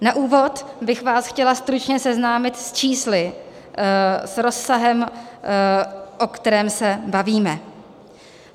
Na úvod bych vás chtěla stručně seznámit s čísly, s rozsahem, o kterém se bavíme.